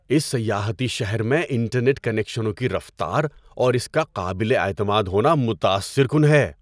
اس سیاحتی شہر میں انٹرنیٹ کنکشنوں کی رفتار اور اس کا قابل اعتماد ہونا متاثر کن ہے۔